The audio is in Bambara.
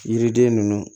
Yiriden ninnu